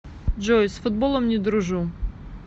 джой с футболом не дружу